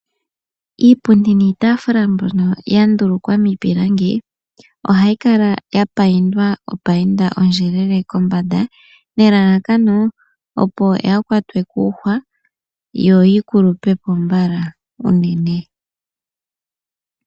Iipundi niitafula mbyoka ya ndulukwa miipilangi, ohayi kala ya payindwa ondjelele kombanda, nelalakano opo yaa kwatwe kuhwa yo yikulupepo mbala uunene.